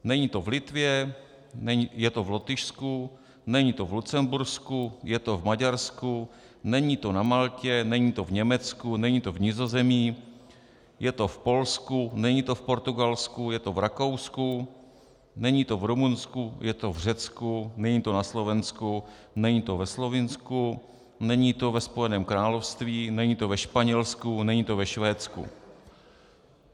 Není to v Litvě, je to v Lotyšsku, není to v Lucembursku, je to v Maďarsku, není to na Maltě, není to v Německu, není to v Nizozemí, je to v Polsku, není to v Portugalsku, je to v Rakousku, není to v Rumunsku, je to v Řecku, není to na Slovensku, není to ve Slovinsku, není to ve Spojeném království, není to ve Španělsku, není to ve Švédsku.